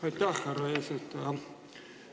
Aitäh, härra eesistuja!